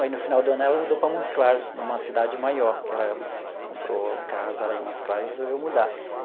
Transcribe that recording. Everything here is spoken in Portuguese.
Aí, no final do ano, ela mudou para Montes Claros, numa cidade maior, porque ela comprou a casa lá em Montes Claros e resolveu mudar.